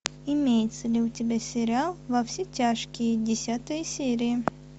имеется ли у тебя сериал во все тяжкие десятая серия